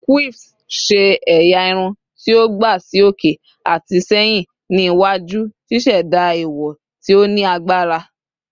Quiffs ṣe ẹya irun ti o gba si oke ati sẹhin ni iwaju, ṣiṣẹda iwo ti o ni agbara